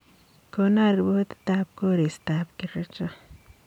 Kono ripotitab koristob kericho